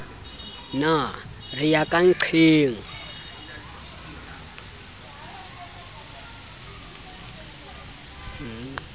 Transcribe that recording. ne re ya ka nnqeng